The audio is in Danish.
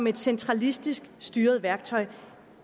et centralistisk styret værktøj